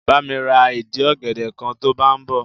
Bá mi ra ìdì ọ̀gẹ̀dẹ̀ kan to bá ń bọ̀.